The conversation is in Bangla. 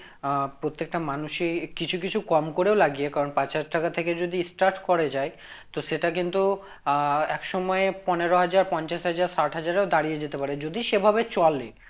আহ প্রত্যেকটা মানুষই কিছু কিছু কম করেও লাগিয়ে কারণ পাঁচ হাজার টাকা থেকে যদি start করা যায় তো সেটা কিন্তু আহ এক সময় পনেরো হাজার পঞ্চাশ হাজার ষাট হাজার এও দাঁড়িয়ে যেতে পারে যদি সে ভাবে চলে